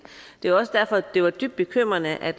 det var også derfor det var dybt bekymrende at